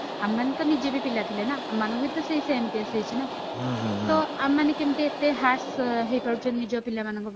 ଆମେ ମାନେ ତ ନିଜେବି ପିଲା ଥିଲେ ନା ଆମମାନଙ୍କୁ ବି ତ ସେଇ case ହେଇଛି ନା ତ ଆମେ ମାନେ କେମିତି ଏତେ harsh ହେଇପାରୁଛେ ନିଜ ପିଲାମାନଙ୍କ ପ୍ରତି